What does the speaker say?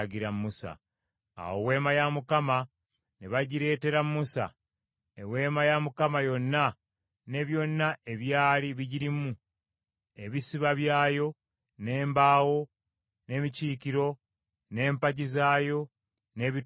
Awo Weema ya Mukama ne bagireetera Musa; Eweema yonna ne byonna ebyali bigirimu: ebisiba byayo, n’embaawo, n’emikiikiro, n’empagi zaayo, n’ebituurwamu;